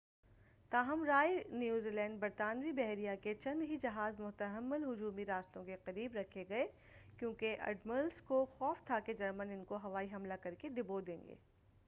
تاہم Royal Navy برطانوی بحریہ کے چند ہی جہاز محتمل ہجومی راستوں کے قریب رکھے گئے کیوں کہ اڈمرلس کو خوف تھا کہ جرمن ان کو ہوائی حملہ کرکے ڈبو دیں گے۔